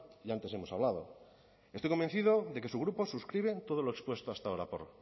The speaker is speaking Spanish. y antes hemos hablado estoy convencido de que su grupo suscribe todo lo expuesto hasta ahora